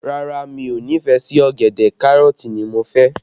Rárá, mi ò nífẹ̀ẹ́ sí ọ̀gẹ̀dẹ̀, Kárọ̀tì ni mo fẹ́